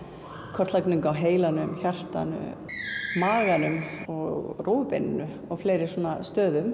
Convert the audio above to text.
kortlagning á heilanum hjartanu maganum og rófubeininu og fleiri stöðum